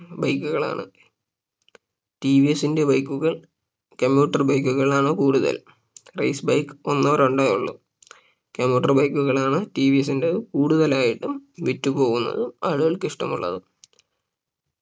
Bike കളാണ് T V എസിന്റെ Bike കൾ commuter bike കളാണ് കൂടുതൽ Race bike ഒന്നോ രണ്ടോ ഉള്ളൂ commuter bike കളാണ് ടി വി എസിന്റെ കൂടുതലായിട്ടും വിറ്റു പോവുന്നതും ആളുകൾക്ക് ഇഷ്ടമുള്ളതും